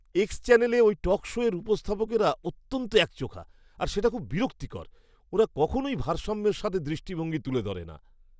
X চ্যানেলে ওই talk শোয়ের উপস্থাপকরা অত্যন্ত একচোখো আর সেটা খুব বিরক্তিকর! ওরা কখনোই ভারসাম্যের সাথে দৃষ্টিভঙ্গি তুলে ধরে না।